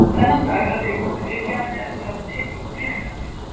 Þennan dag hafði ég komið við hjá henni eftir að hafa tekið út peningana mína.